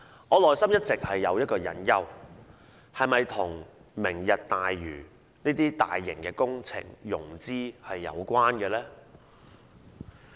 我內心一直有個疑問：決議案是否與"明日大嶼"等大型工程的融資有關呢？